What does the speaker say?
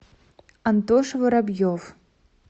антоша воробьев